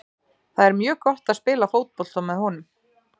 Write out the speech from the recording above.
Það er mjög gott að spila fótbolta með honum.